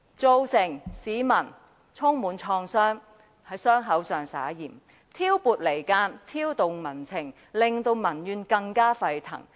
他對市民造成創傷，復在傷口上灑鹽，兼且挑撥離間、挑動民情，令民怨更加沸騰。